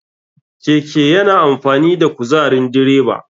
Keke yana amfani da kuzarin direba.